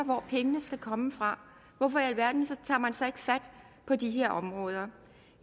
hvor pengene skal komme fra hvorfor i alverden tager man så ikke fat på de her områder